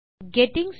hello friends